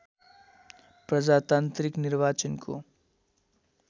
प्रजातान्त्रिक निर्वाचनको